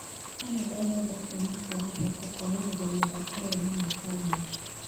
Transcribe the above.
Kanada ĩrenda Kĩama kĩa mathako kũrarĩrĩria mĩthako ĩyo na mwaka ũmwe.